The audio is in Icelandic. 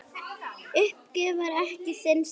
Uppgjöf var ekki þinn stíll.